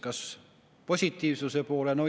Kas positiivsuse poole?